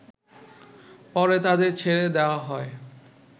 পরে তাদের ছেড়ে দেয়া হয়